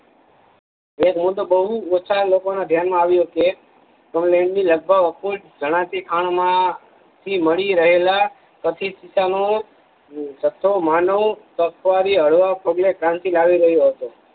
એક મુદો બહુ ઓછા લોકો ના ધ્યાન માં આવીયો હશે જણાતી ખાણમાં થી મળી રહેલા ચકીત્સનો જથ્થો માનો ક્રાંતિ લાવી રહ્યું હશે